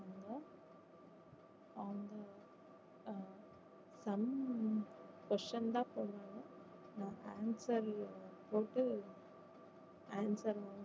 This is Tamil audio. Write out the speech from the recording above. sum question தான் தருவாங்க நம்ம answer போட்டு answer